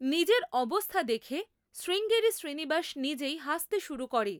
নিজের অবস্থা দেখে শ্রীঙ্গেরি শ্রীনিবাস নিজেই হাসতে শুরু করে।